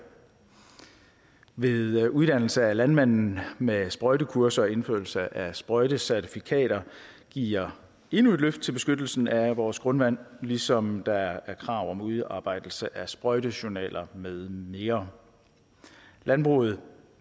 ved uddannelse af landmanden med sprøjtekurser og indførelse af sprøjtecertifikater giver endnu et løft til beskyttelsen af vores grundvand ligesom der stilles krav om udarbejdelse af sprøjtejournaler med mere landbruget